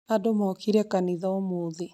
Andũ mookire kanitha ũmũthĩ